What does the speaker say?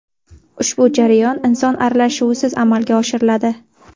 Ushbu jarayon inson aralashuvisiz amalga oshiriladi.